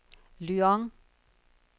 Lyon